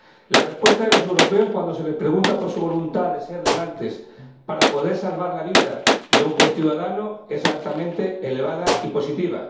La respuesta de los europeos cuando se les pregunta por su voluntad de ser donantes para poder salvar la vida de un conciudadano es altamente elevada y positiva.